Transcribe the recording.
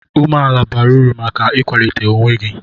Umeala bara uru maka ịkwalite onwe gị.